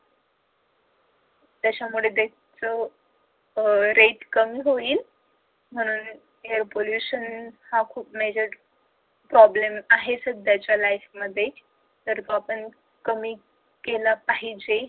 त्याच्यामुळं death अह rate कमी होईल. air pollution हा खूप major problem आहेच हे सध्याच्या life मध्ये तर आपण कमी केलं पाहिजे.